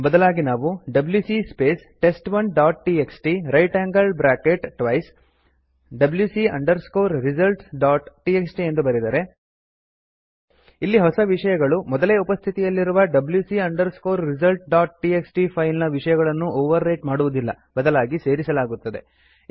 ಬದಲಾಗಿ ನಾವು WC space test one dot TXT right angled bracket twice WC underscore results dot TXT ಎಂದು ಬರೆದರೆ ಇಲ್ಲಿ ಹೊಸ ವಿಷಯಗಳು ಮೊದಲೇ ಉಪಸ್ಥಿತಿಯಲ್ಲಿರುವ WC underscore results dot TXT file ನ ವಿಷಯಗಳನ್ನು ಒವರ್ ರೈಟ್ ಮಾಡುವುದಿಲ್ಲ ಬದಲಾಗಿ ಸೇರಿಸಲಾಗುತ್ತದೆ